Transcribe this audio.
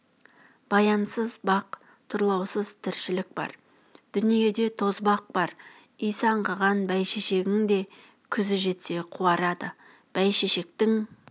баянсыз бақ тұрлаусыз тіршілік бар дүниеде тозбақ бар исі аңқыған бәйшешегің де күзі жетсе қуарады бәйшешектің